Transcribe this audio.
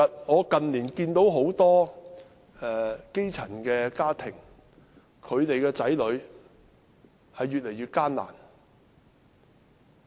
我近年看到很多基層家庭子女的情況越來越艱難。